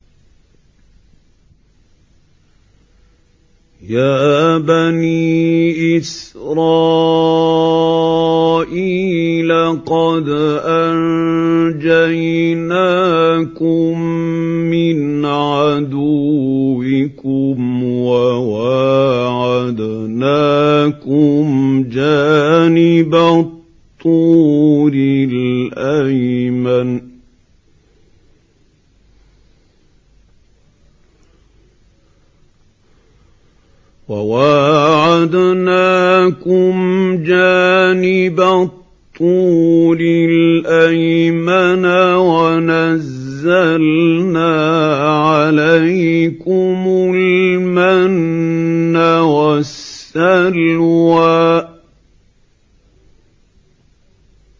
يَا بَنِي إِسْرَائِيلَ قَدْ أَنجَيْنَاكُم مِّنْ عَدُوِّكُمْ وَوَاعَدْنَاكُمْ جَانِبَ الطُّورِ الْأَيْمَنَ وَنَزَّلْنَا عَلَيْكُمُ الْمَنَّ وَالسَّلْوَىٰ